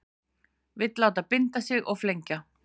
Vill láta binda sig og flengja